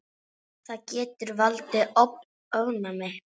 Það getur valdið ofnæmi.